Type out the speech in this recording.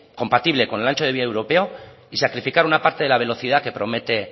compatible con el ancho de vía europeo y sacrificar una parte de la velocidad que promete